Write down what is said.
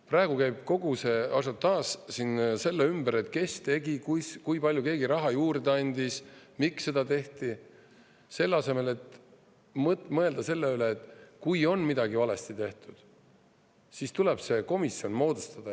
Praegu käib kogu ažiotaaž siin selle ümber, et kes tegi, kui palju keegi raha juurde andis, miks seda tehti, selle asemel, et mõelda sellele, et kui on midagi valesti tehtud, siis tuleb see komisjon moodustada.